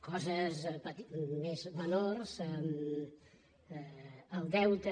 coses més menors el deute